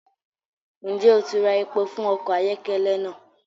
Njẹ o ti rá èpò fún ọkọ ayọkẹlẹ naa!?